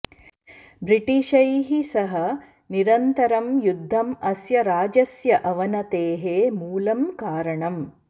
ब्रिटिशैः सह निरन्तरं युद्धम् अस्य राज्यस्य अवनतेः मूलं कारणम्